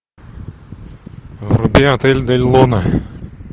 вруби отель дель луна